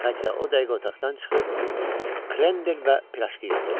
Katya o dəqiqə otaqdan çıxıb, krendel və pirajki gətirdi.